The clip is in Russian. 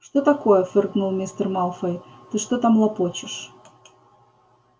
что такое фыркнул мистер малфой ты что там лопочешь